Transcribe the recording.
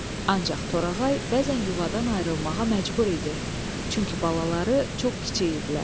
Ancaq Torağay bəzən yuvadan ayrılmağa məcbur idi, çünki balaları çox kiçik idilər.